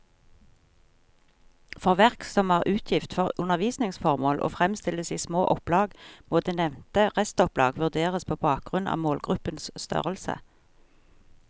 For verk som er utgitt for undervisningsformål og fremstilles i små opplag, må det nevnte restopplag vurderes på bakgrunn av målgruppens størrelse.